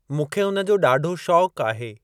मूंखे उन जो ॾाढो शौंक आहे।